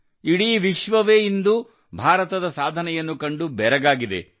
ಇಡೀ ವಿಶ್ವವೇ ಇಂದು ಭಾರತದ ಸಾಧನೆಯನ್ನು ಕಂಡು ಬೆರಗಾಗಿದೆ